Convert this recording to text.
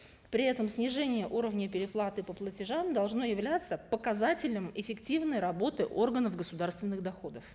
при этом снижение уровня переплаты по платежам должно являться показателем эффективной работы органов государственных доходов